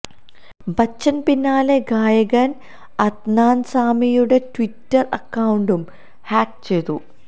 ബച്ചന് പിന്നാലെ ഗായകന് അദ്നാന് സാമിയുടെ ട്വിറ്റര് അക്കൌണ്ടും ഹാക്ക് ചെയ്തു